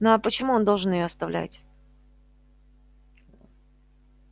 ну а почему он должен её оставлять